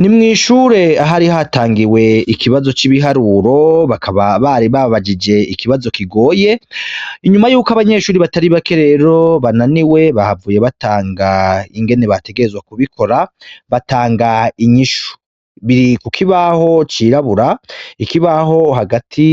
Ni mw'ishure aho hari hatangiwe ikibazo c'ibiharuro bakaba bari babajije ikibazo kigoye, inyuma yuko abanyeshuri batari bake rero bananiwe bahavuye batanga ingene bategerezwa kubikora, batanga inyishu, biri ku kibaho cirabura, ikibaho hagati